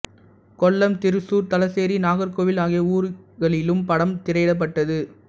கொல்லம் திருச்சூர் தலச்சேரி நாகர்கோவில் ஆகிய ஊரிகளிலும் படம் திரையிடப்பட்டது